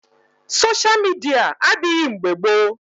sosha midia adịghị mgbe gboo